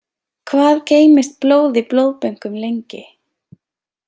Hvað geymist blóð í blóðbönkum lengi?